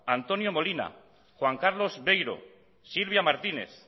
antonio molina juan carlos beiro silvia martínez